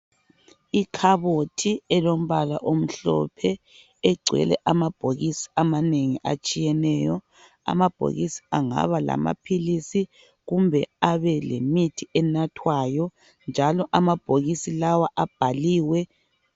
Ikhabothi elombala omhlophe egcwele amabhokisi amanengi atshiyeneyo. Amabhokisi angaba lamaphilisi kumbe abe lemithi enathwayo njalo amabhokisi lawa abhaliwe.